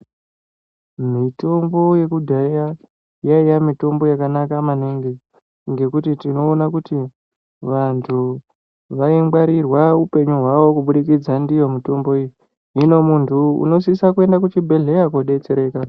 Mitombo yakudhaya yaiya mitombo yakanaka maningi. Ngekuti tinoona kuti vantu vaingwarirwa upenyu hwavo kubudikidza ndiyo mitombo iyi. Hino muntu unosisa kuenda kuchibhedhleya kobetsereka.